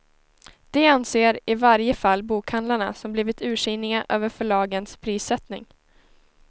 Det anser i varje fall bokhandlarna som blivit ursinniga över förlagens prissättning.